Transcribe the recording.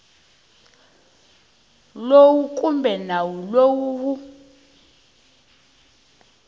lowu kumbe nawu lowu wu